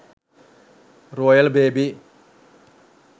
royal baby